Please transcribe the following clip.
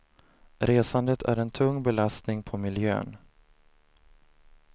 Resandet är en tung belastning på miljön.